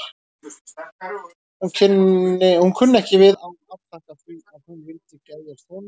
Hún kunni ekki við að afþakka því að hún vildi geðjast honum.